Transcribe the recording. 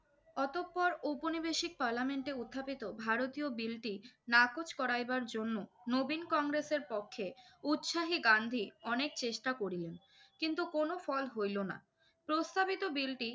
অতঃপর ঔপনিবেশিক পার্লামেন্টে উত্থাপিত ভারতীয় বিলটি নাকচ করাইবার জন্য নবীন কংগ্রেসের পক্ষে উৎসাহী গান্ধী অনেক চেষ্টা করিলেন। কিন্তু কোনো ফল হইলো না। প্রস্তাবিত বিলটি